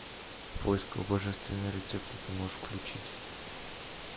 в поисках божественного рецепта ты можешь включить